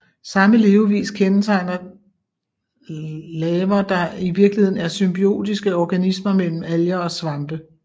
Samme levevis kendetegner laver der i virkeligheden er symbiotiske organismer mellem alger og svampe